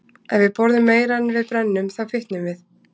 Ef við borðum meira en við brennum, þá fitnum við.